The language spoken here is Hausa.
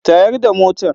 Tayar da motar.